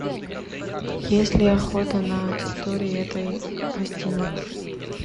есть ли охота на территории этой гостиницы